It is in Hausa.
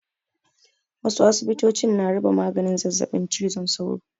Wasu asibitocin na raba maganin zazzaɓin cizon sauro.